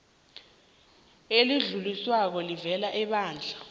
elidluliswako elivela ebandla